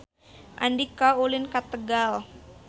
Andika ulin ka Tegal